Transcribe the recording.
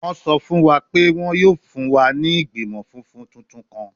Wọn sọ fun wa pe wọn yoo fun wa ni igbimọ funfun tuntun kan